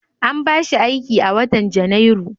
An ba shi aiki a watan Janairu.